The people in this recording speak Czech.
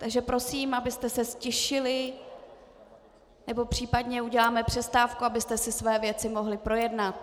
Takže prosím, abyste se ztišili, nebo případně uděláme přestávku, abyste si své věci mohli projednat.